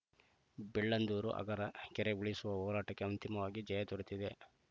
ಬೆಳ್ಳಂದೂರು ಅಗರ ಕೆರೆ ಉಳಿಸುವ ಹೋರಾಟಕ್ಕೆ ಅಂತಿಮವಾಗಿ ಜಯ ದೊರೆತಿದೆ